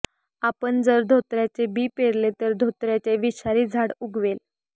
आपण जर धोत्र्याचे बी पेरले तर धोत्र्याचे विषारी झाड उगवेल